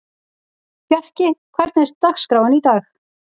Fjarki, hvernig er dagskráin í dag?